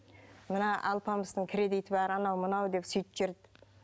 мына алпамыстың кредиті бар анау мынау деп сөйтіп жүрді